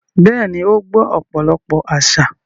Bẹ́ẹ̀ni, ó gbọ́ ọ̀pọ̀lọpọ̀ àsà.